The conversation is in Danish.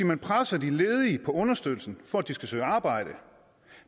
man presser de ledige på understøttelsen for at de skal søge arbejde